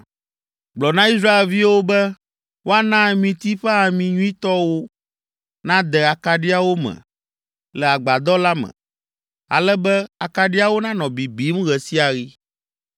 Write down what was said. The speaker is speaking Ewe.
“Gblɔ na Israelviwo be woana amiti ƒe ami nyuitɔ wò nàde akaɖiawo me le agbadɔ la me, ale be akaɖiawo nanɔ bibim ɣe sia ɣi.